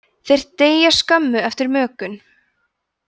þeir deyja skömmu eftir mökun